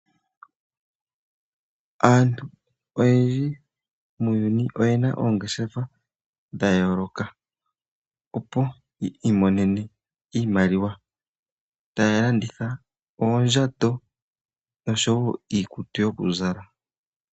Aantu oyendji muuyuni oye na oongeshefa dha yooloka, opo yi imonene iimaliwa taya landitha oondjato nosho wo iikutu yo ku zala.